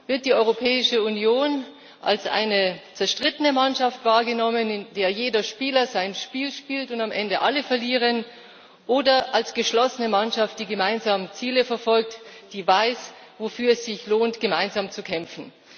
Wird die Europäische Union als eine zerstrittene Mannschaft wahrgenommen, in der jeder Spieler sein Spiel spielt und am Ende alle verlieren, oder als geschlossene Mannschaft, die gemeinsam Ziele verfolgt, die weiß, wofür es sich lohnt, gemeinsam zu kämpfen?